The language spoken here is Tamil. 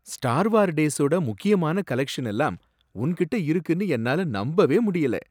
ஸ்டார் வார் டேஸோட முக்கியமான கலெக்ஷன் எல்லாம் உன்கிட்ட இருக்குனு என்னால நம்பவே முடியல.